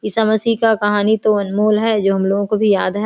ईसा मसीह का कहानी तो अनमोल है जो हमलोगों को भी याद है।